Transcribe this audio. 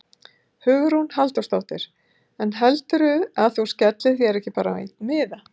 Hugrún Halldórsdóttir: En heldurðu að þú skellir þér ekki bara á einn miða?